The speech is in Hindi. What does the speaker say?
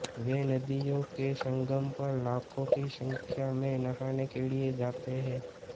वे नदियों के संगम पर लाखों की संख्या में नहाने के लिये जाते हैं